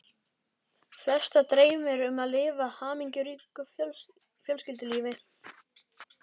Flesta dreymir um að lifa hamingjuríku fjölskyldulífi.